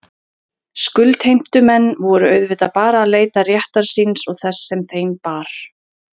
Skuldheimtumenn voru auðvitað bara að leita réttar síns og þess sem þeim bar.